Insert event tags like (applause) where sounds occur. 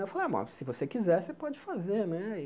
Aí eu falei a, (unintelligible) se você quiser, você pode fazer né e.